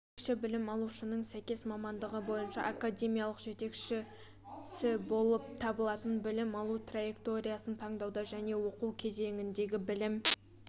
жетекші білім алушының сәйкес мамандығы бойынша академиялық жетекшісі болып табылатын білім алу траекториясын таңдауда және оқу кезеңінде білім